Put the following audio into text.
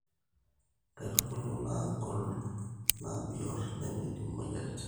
Nkaitubulu nnagol naa biot nemeidim imoyiaritin